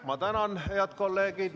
Ma tänan, head kolleegid!